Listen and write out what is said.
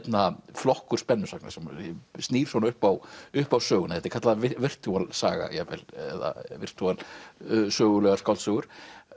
flokkur spennusagna sem snýr svona upp á upp á söguna þetta er kallað virtual saga jafnvel eða virtual sögulegar skáldsögur